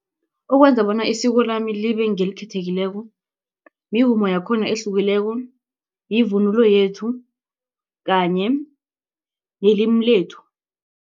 Ukwenza bona isiko lami libe ngelikhethekileko mivumo yakhona ehlukileko, yivunulo yethu kanye nelimi lethu.